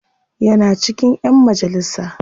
Yana cikin ƴan majalisa.